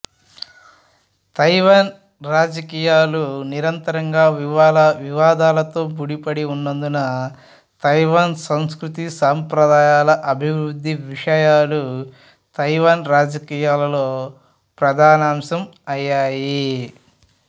Taiwan రాజకీయాలు నిరంతరంగా వివాదాలతో ముడిపడి ఉన్నందున తైవాన్ సంస్కృతి సంప్రదాయాలు అభివృద్ధి విషయాలు తైవాన్ రాజకీయాలలో ప్రధానాంశం అయ్యాయి